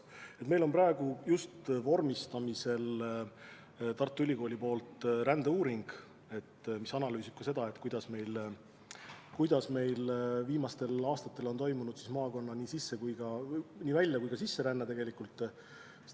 Praegu on Tartu Ülikoolis vormistamisel rändeuuring, mille käigus analüüsiti ka seda, kuidas meie maakonnas on viimastel aastatel toimunud nii välja- kui ka sisseränne.